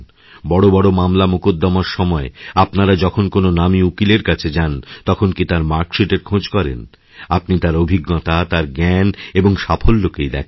বড় বড়মামলা মোকদ্দমার সময় আপনারা যখন কোনও নামী উকিলের কাছে যান তখন কি তাঁরমার্কশিটএর খোঁজ করেন আপনি তাঁর অভিজ্ঞতা তাঁর জ্ঞান এবং সাফল্যকেই দেখেন